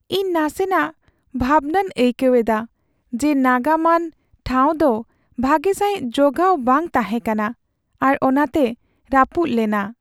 ᱤᱧ ᱱᱟᱥᱮᱱᱟᱜ ᱵᱷᱟᱵᱽᱱᱟᱣ ᱟᱹᱭᱠᱟᱹᱣ ᱮᱫᱟ ᱡᱮ ᱱᱟᱜᱟᱢᱟᱱ ᱴᱷᱟᱶ ᱫᱚ ᱵᱷᱟᱜᱮ ᱥᱟᱹᱦᱤᱡ ᱡᱚᱜᱟᱣ ᱵᱟᱝ ᱛᱟᱦᱮᱸ ᱠᱟᱱᱟ ᱟᱨ ᱚᱱᱟᱛᱮ ᱨᱟᱹᱯᱩᱫᱽ ᱞᱮᱱᱟ ᱾